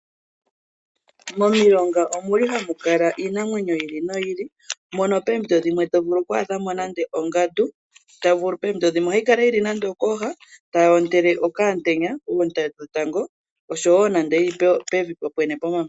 Momilonga omu li hamu kala iinamwenyo yi ili noyi ili, mono poompito dhimwe to vulu oku adha mo nande ongandu, poompito dhimwe ohayi kala yi li nande okooha tayi ontele okaantenya, oonte dhetango nande yi li pevi po pwene pomamanya.